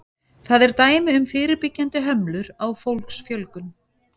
Það er dæmi um fyrirbyggjandi hömlur á fólksfjölgun.